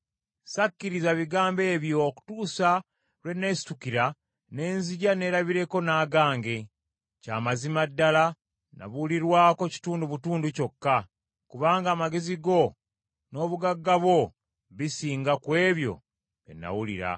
Ssakkiriza bigambo ebyo okutuusa lwe neesitukira ne nzija neerabireko n’agange. Kya mazima ddala nabulirwako kitundu butundu kyokka; kubanga amagezi go, n’obugagga bwo bisinga ku ebyo bye nawulira.